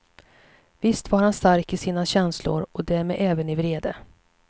Visst var han stark i sina känslor, och därmed även i vrede.